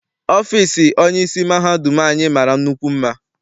Ọfịịsi onyeisi mahadum anyị mara nnukwu mma.